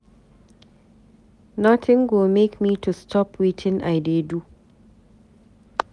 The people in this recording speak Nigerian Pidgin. Nothing go make me to stop wetin I dey do.